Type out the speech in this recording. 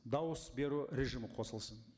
дауыс беру режимі қосылсын